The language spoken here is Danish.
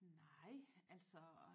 Nej altså